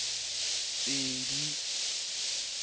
ho ne ho le thata